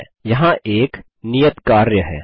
ठीक है यहाँ एक अन्य नियत कार्य है